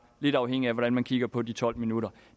lidt afhængigt af hvordan man kigger på de tolv minutter